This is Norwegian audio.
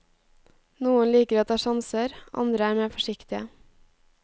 Noen liker å ta sjanser, andre er mer forsiktige.